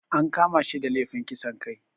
An kama shi da lefin kisan kai